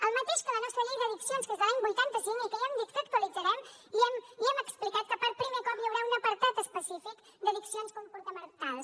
el mateix que la nostra llei d’addicions que és de l’any vuitanta cinc i que ja hem dit que actualitzarem i hem explicat que per primer cop hi haurà un apartat específic d’addiccions comportamentals